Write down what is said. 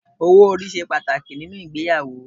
Owó orí ṣe pàtàkì nínú ìgbéyàwó.